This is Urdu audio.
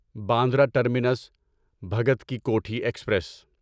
Bandra terminus Bhagat ki Kothi express